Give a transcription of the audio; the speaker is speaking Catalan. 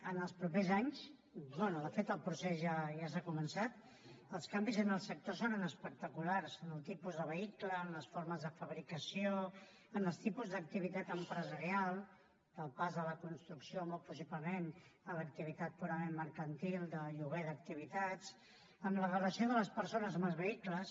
en els propers anys bé de fet el procés ja s’ha començat els canvis en el sector seran espectaculars en el tipus de vehicles en les formes de fabricació en els tipus d’activitat empresarial del pas de la construcció molt possiblement a l’activitat purament mercantil del lloguer d’activitats en la relació de les persones amb els vehicles